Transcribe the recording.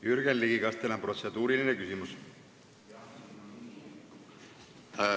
Jürgen Ligi, kas teil on protseduuriline küsimus?